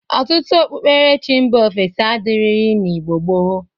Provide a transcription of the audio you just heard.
Ọtụtụ okpukperechi mba ofesi adịrịghị n'Igbo gboo.